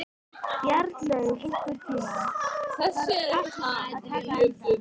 Bjarnlaug, einhvern tímann þarf allt að taka enda.